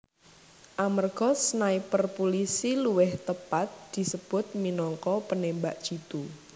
Amerga sniper pulisi luwih tepat disebut minangka penembak jitu